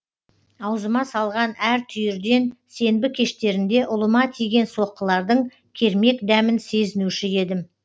аузыма салған әр түйірден сенбі кештерінде ұлыма тиген соққылардың кермек дәмін сезінуші едім